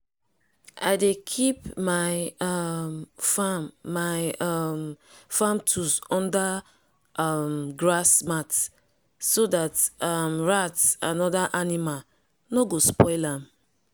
i dey keep my um farm my um farm tools under um grass mat so that um rat and other animal nor go spoil am